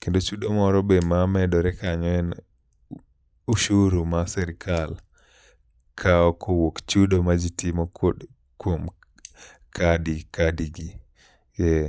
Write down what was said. Kendo chudo moro be mamedore kanyo be en ushuru ma sirikal kawo kowuok chudo ma ji timo kod kuom kadi, kadi gi, ee.